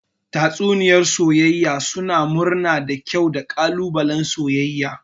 Tatsuniyoyi na soyayya suna murna da kyau da ƙalubalen soyayya.